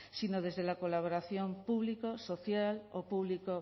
sino desde la colaboración público social o público